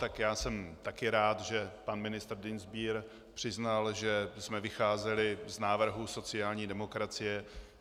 Tak já jsem také rád, že pan ministr Dienstbier přiznal, že jsme vycházeli z návrhů sociální demokracie.